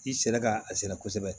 I sɛnɛ ka a sɛnɛ kosɛbɛ